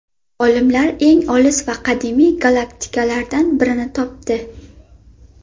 Olimlar eng olis va qadimiy galaktikalardan birini topdi.